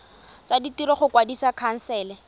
tsa ditiro go kwadisa khansele